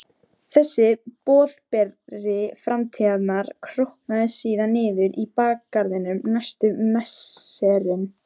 Þessi boðberi framtíðarinnar grotnaði síðan niður í bakgarðinum næstu misserin.